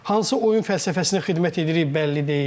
Hansı oyun fəlsəfəsinə xidmət edirik, bəlli deyil.